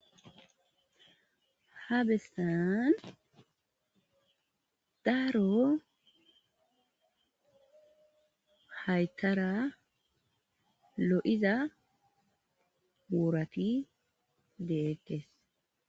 Habestan daaro haytara lo,iza wurati deekkes.